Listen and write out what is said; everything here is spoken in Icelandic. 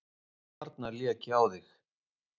Þarna lék ég á þig!